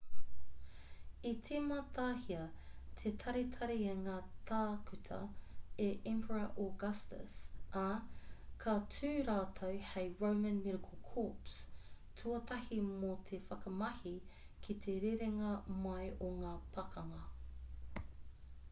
i tīmatahia te taritari i ngā tākuta e emperor augustus ā ka tū rātou hei roman medical corps tuatahi mō te whakamahi ki te rerenga mai o ngā pakanga